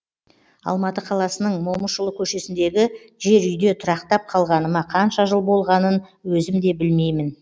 алматы қаласының момышұлы көшесіндегі жер үйде тұрақтап қалғаныма қанша жыл болғанын өзім де білмеймін